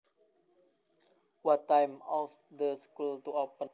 What time ought the school to open